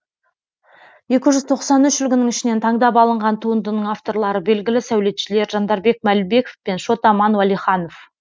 екі жүз тоқсан үш үлгінің ішінен таңдап алынған туындының авторлары белгілі сәулетшілер жандарбек мәлібеков пен шот аман уәлиханов